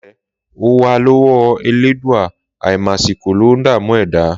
Làípẹ,ò wà lọwò ẹlẹdúà, àímàsikò lọ ńdàmú ẹdà